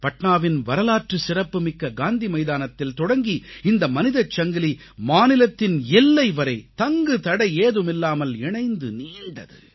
பாட்னாவின் வரலாற்று சிறப்புமிக்க காந்தி மைதானத்தில் தொடங்கி இந்த மனிதச் சங்கிலி மாநிலத்தின் எல்லை வரை தங்குதடையேதுமில்லாமல் இணைந்து நீண்டது